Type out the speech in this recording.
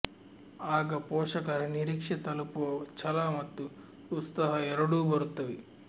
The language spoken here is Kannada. ಆಗ ಪೋಷಕರ ನಿರೀಕ್ಷೆ ತಲುಪುವ ಛಲ ಮತ್ತು ಉತ್ಸಾಹ ಎರಡೂ ಬರುತ್ತವೆ